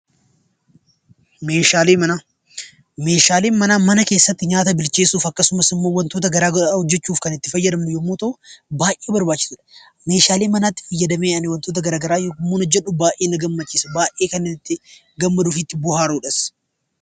Meeshaalee manaa. Meeshaaleen manaa mana keessatti nyaata bilcheessuuf akkasumas wantoota garaa garaa hojjechuuf kan itti gargaaramnu yammuu ta'uu baayyee barbaachisaadha. Meeshaalee manaatti fayyadamee ani wantoota garaa garaa yammuun hojjedhu baayyee na gammachiisa. Baayyee kan ani itti gammaduu fi bo'aaruudhas.